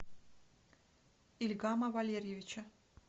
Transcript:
ильгама валерьевича